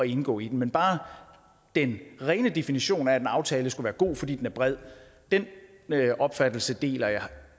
indgå i den men bare den rene definition af at en aftale skulle være god fordi den er bred den opfattelse deler jeg